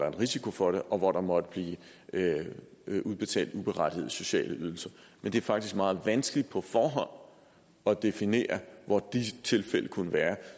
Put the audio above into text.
er en risiko for det og hvor der måtte blive udbetalt uberettigede sociale ydelser men det er faktisk meget vanskeligt på forhånd at definere hvor disse tilfælde kunne være